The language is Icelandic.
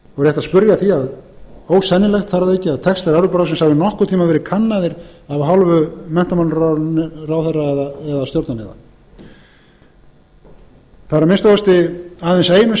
spyrja að því og ósennilegt þar að auki að textar evrópuráðsins hafi nokkurn tíma verið kannaðir af hálfu menntamálaráðherra eða stjórnarliða það er að minnsta kosti aðeins einu